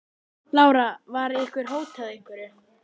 Lára: Var ykkur hótað einhverju?